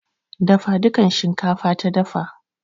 Dafa dukan shinkafa ta dafa.